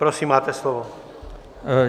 Prosím, máte slovo.